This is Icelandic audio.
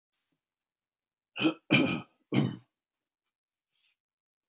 Hún spyr mig hundrað sinnum á dag, hvenær við flytjumst burt.